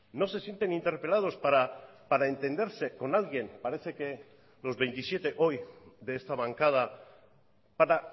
no se sienten interpelados para entenderse con alguien parece que los veintisiete hoy de esta bancada para